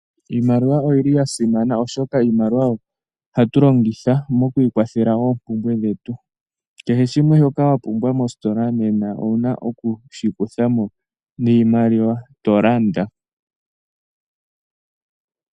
Iimaliwa oyili ya simana oshoka iimaliwa oyo hatu longitha mokwiikwathela oompumbwe dhetu kehe shimwe shoka wa pumbwa mositola nena owuna okushi kutha mo niimaliwa tolanda.